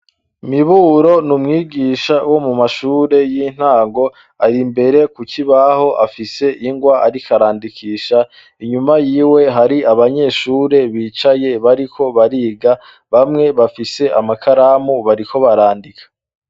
Miburo n’umwigisha wo mu mashure y'intango, ari imbere kuki ibaho afise ingwa arikarandikisha, inyuma yiwe hari abanyeshure bicaye bariko bariga bamwe bafise amakaramu bariko barandika.